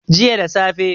jiya da safe